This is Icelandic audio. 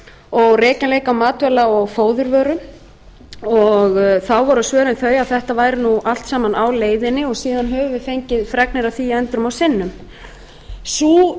og rekjanleika matvæla og fóðurvöru þá voru svörin þau að þetta væri allt á leiðinni og síðan höfum við fengið fregnir af því endrum og